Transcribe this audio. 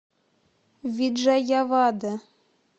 виджаявада